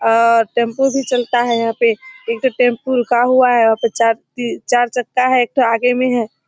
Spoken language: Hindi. और टेम्पु भी चलता है यहाँ पे। एक ठो टेम्पू रुका हुआ है और यहाँ पे चार ती चक्का है। एक ठो आगे में है।